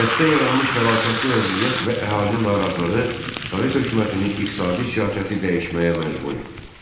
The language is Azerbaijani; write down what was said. Kənddə yaranmış fəlakətli vəziyyət və əhalinin narazılığı Sovet hökumətini iqtisadi siyasəti dəyişməyə məcbur etdi.